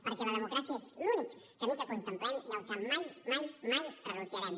perquè la democràcia és l’únic camí que contemplem i al que mai mai mai renunciarem